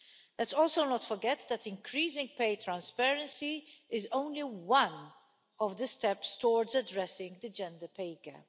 Let's also not forget that increasing pay transparency is only one of the steps towards addressing the gender pay gap.